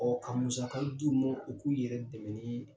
Ɔ ka musaka d' u mɔ u k'u yɛrɛ dɛmɛ ni